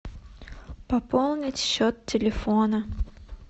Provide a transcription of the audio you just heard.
пополнить счет телефона